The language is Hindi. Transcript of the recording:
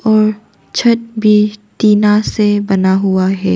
और छत भी टीना से बना हुआ है।